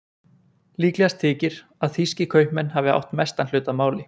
Líklegast þykir að þýskir kaupmenn hafi átt mestan hlut að máli.